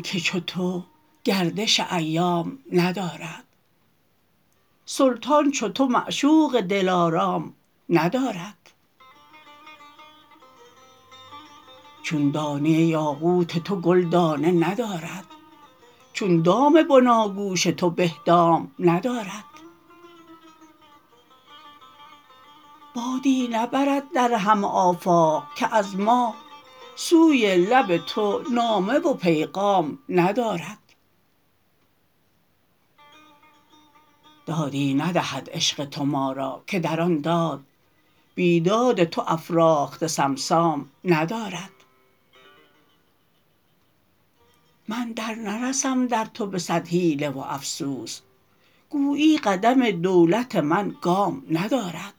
که چو تو گردش ایام ندارد سلطان چو تو معشوق دلارام ندارد چون دانه یاقوت تو گل دانه ندارد چون دام بناگوش توبه دام ندارد بادی نبزد در همه آفاق که از ما سوی لب تو نامه و پیغام ندارد دادی ندهد عشق تو ما را که در آن داد بی داد تو افراخته صمصام ندارد من در نرسم در تو به صد حیله و افسون گویی قدم دولت من گام ندارد